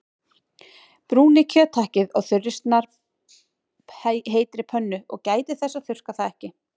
Brúnið kjöthakkið á þurri snarpheitri pönnu- gætið þess að þurrka það ekki.